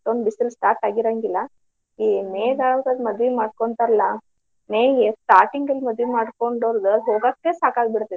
ಒಂದು ಬಿಸಿಲು start ಆಗಿ ಇರಂಗಿಲ್ಲ ಈ May ಕಾಲದಾಗ ಮದ್ವಿ ಮಾಡ್ಕೊಂತರಲ್ಲ May starting ಮದ್ವಿ ಮಾಡ್ಕೊಂತರ್ಲಾ ಹೋಗಾಕ್ ಸಾಕಾಗಿ ಬಿಡ್ತೇತಿ.